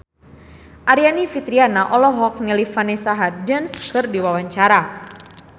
Aryani Fitriana olohok ningali Vanessa Hudgens keur diwawancara